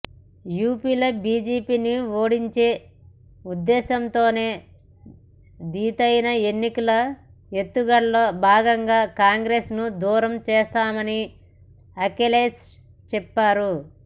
యూపీలో బీజేపీని ఓడించే ఉద్దేశంతోనే దీటైన ఎన్నికల ఎత్తుగడలో భాగంగా కాంగ్రెస్ను దూరం చేశామని అఖిలేష్ చెప్పారు